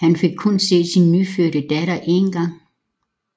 Han fik kun set sin nyfødte datter én gang